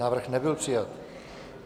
Návrh nebyl přijat.